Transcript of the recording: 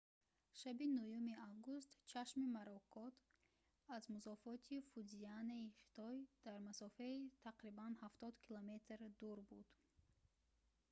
шаби 9 август чашми моракот аз музофоти фудзияни хитой дар масофаи тақрибан ҳафтод километр дур буд